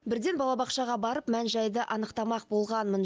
бірден балабақшаға барып мән жайды анықтамақ болғанмын